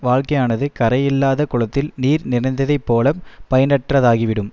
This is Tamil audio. வாழ்க்கையானது கரையில்லாத குளத்தில் நீர் நிறைந்ததைப் போல பயனற்றதாகி விடும்